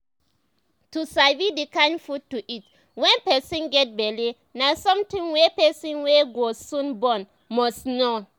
to sabi the kind food to eat when person get belle na something wey person wey go soon born must know